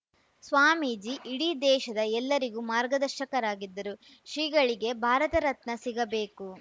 ಸ್ವಾಮೀಜಿ ಇಡೀ ದೇಶದ ಎಲ್ಲರಿಗೂ ಮಾರ್ಗದರ್ಶಕರಾಗಿದ್ದರು ಶ್ರೀಗಳಿಗೆ ಭಾರತ ರತ್ನ ಸಿಗಬೇಕು